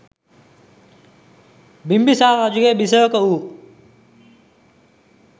බිම්බිසාර රජුගේ බිසවක වූ